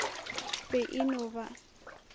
be e e no ba